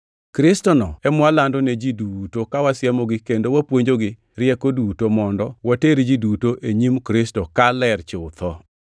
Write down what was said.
Kristono e mwalando ne ji duto ka wasiemogi kendo wapuonjogi rieko duto, mondo water ji duto e nyim Kristo ka ler chutho.